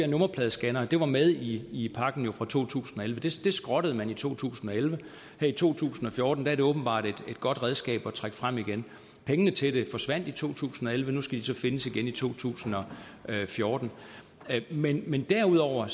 nummerpladescannere det var jo med i pakken for to tusind og elleve altså det skrottede man i to tusind og elleve her i to tusind og fjorten er det åbenbart et godt redskab at trække frem igen pengene til det forsvandt i to tusind og elleve nu skal de så findes igen i to tusind og fjorten men men derudover er